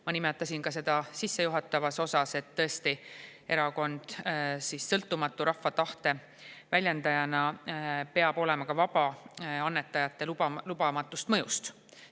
Ma nimetasin seda ka sissejuhatavas osas, et tõesti, erakond rahva tahte väljendajana peab olema sõltumatu ja annetajate lubamatust mõjust vaba.